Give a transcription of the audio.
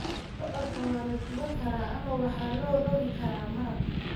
Bocorka waa la duban karaa ama waxaa loo rogi karaa maraq.